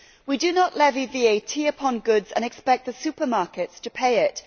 We do not levy VAT upon goods and expect the supermarkets to pay it.